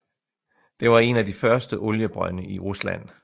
Det var en af de første oliebrønde i Rusland